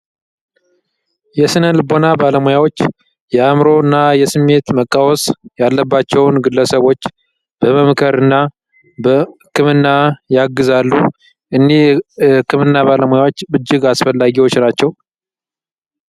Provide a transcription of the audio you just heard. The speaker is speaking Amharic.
የስነ ልቦና ባለሙያዎች የእምሮ እና የስሜት መቃወስ ያለባቸውን ግለሰቦች በመምከርና ክምና ያግዛሉ እኒ ክምና ባለሙያዎች ብጅግ አስፈላጊዎች ናቸው።